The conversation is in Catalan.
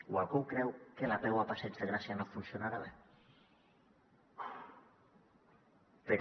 o algú creu que l’apeu al passeig de gràcia no funcionarà bé però